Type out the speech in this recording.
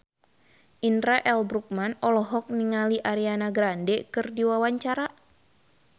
Indra L. Bruggman olohok ningali Ariana Grande keur diwawancara